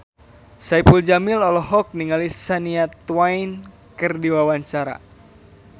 Saipul Jamil olohok ningali Shania Twain keur diwawancara